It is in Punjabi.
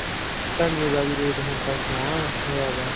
ਧਨੀਏ ਦਾ ਰੇਟ ਹੁਣ ਸੋਹਣਾ ਮੈਨੂੰ ਲੱਗਦਾ